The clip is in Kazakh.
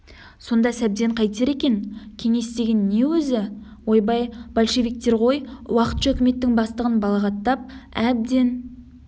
сонда сәбден қайтер екен кеңес деген не өзі ойбай большевиктер ғой уақытша үкіметтің бастығын балағаттап әбден